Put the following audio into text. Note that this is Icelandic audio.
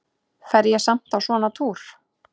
Fer ég samt á svona túr?